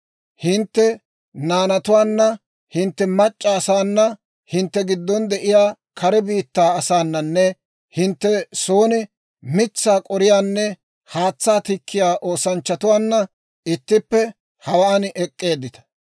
Hintte naanatuwaanna, hintte mac'c'a asaana hintte giddon de'iyaa kare biittaa asaananne hintte son mitsaa k'oriyaanne haatsaa tikkiyaa oosanchchatuwaanna ittippe, hawaan ek'k'eeddita.